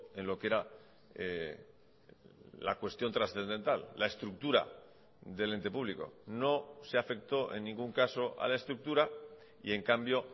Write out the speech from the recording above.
en lo que era la cuestión trascendental la estructura del ente público no se afectó en ningún caso a la estructura y en cambio